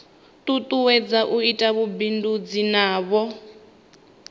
tutuwedza u ita vhubindudzi navho